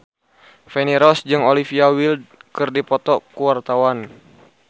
Feni Rose jeung Olivia Wilde keur dipoto ku wartawan